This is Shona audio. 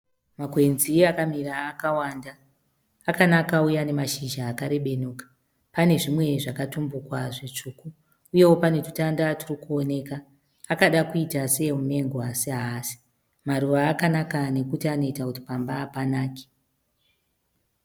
Makwenzi akamira akawanda. Akanaka uye ane mashizha akarebenuka. Pane zvimwe zvakatumbuka zvitsvuku uyewo pane tutanda turikuoneka. Akada kuita seemumengo asi haasi. Maruva akanaka nekuti anoita kuti pamba panake.